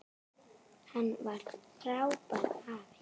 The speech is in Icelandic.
Hann var frábær afi.